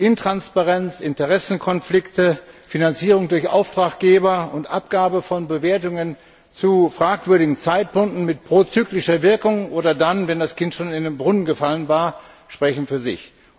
Intransparenz, Interessenkonflikte, Finanzierung durch Auftraggeber und Abgabe von Bewertungen zu fragwürdigen Zeitpunkten mit prozyklischer Wirkung oder dann, wenn das Kind schon in den Brunnen gefallen war, sprechen für sich.